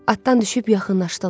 Atdan düşüb yaxınlaşdılar.